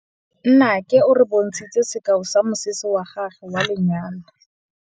Nnake o re bontshitse sekaô sa mosese wa gagwe wa lenyalo.